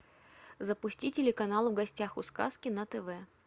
запусти телеканал в гостях у сказки на тв